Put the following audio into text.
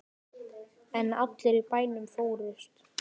En allir í bænum fórust.